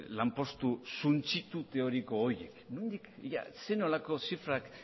lanpostu suntsitu teoriko horiek nondik zer nolako zifrak